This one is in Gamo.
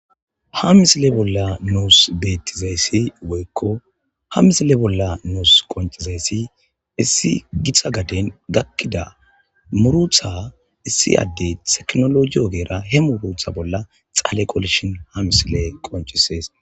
Ha misilen Bolla nus betizay Woyko Ha misile Bolla Nus qoncozaysi issi gixa garden gakida Muruta issi adey tecinoloje. Xalle qollishin ha missiley qoncces